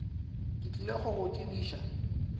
ke tlile go go tsebiša